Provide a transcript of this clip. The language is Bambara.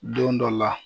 Don dɔ la